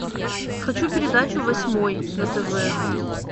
хочу передачу восьмой на тв